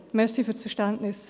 Danke für Ihr Verständnis.